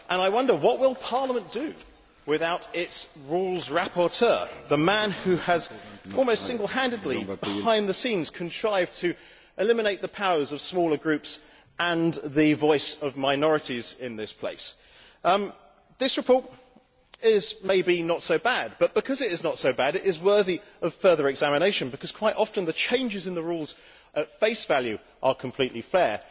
I wonder what Parliament will do without its Rules rapporteur, the man who has almost single handedly behind the scenes contrived to eliminate the powers of smaller groups and the voice of minorities in this place. This report is, maybe, not so bad but, because it is not so bad, it is worthy of further examination because quite often the changes in the Rules, at face value, are completely fair.